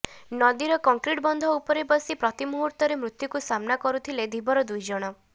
ନଦୀର କଙ୍କ୍ରିଟ ବନ୍ଧ ଉପରେ ବସି ପ୍ରତି ମୁହୁର୍ତ୍ତରେ ମୃତ୍ୟୁକୁ ସାମ୍ନା କରୁଥିଲେ ଧୀବର ଦୁଇଜଣ